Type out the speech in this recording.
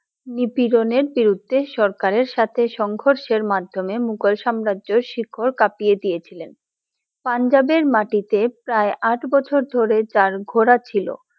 নীতি গনের বিরুদ্ধে সরকারে সাথে সংঘর্ষে মাধ্যমে মুগল সাম্রাজ্যে শিখর কাঁপিয়ে দিয়ে ছিলেন, পাঞ্জাবের মাটিতে প্রায় আঠ বছর ধরে যার ঘোড়া ছিলো।